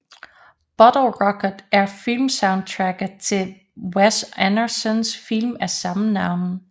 Bottle Rocket er filmsoundtracket til Wes Andersons film af samme navn